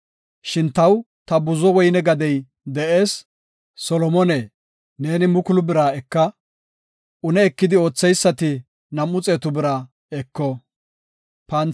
Shin taw ta buzo woyne gadey de7ees; Solomone, neeni mukulu bira eka; une ekidi ootheysati nam7u xeetu bira eko.